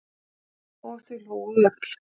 Og þau hlógu öll.